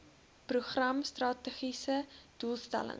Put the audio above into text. program strategiese doelstelling